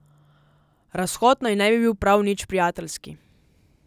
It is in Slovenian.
Razhod naj ne bi bil prav nič prijateljski.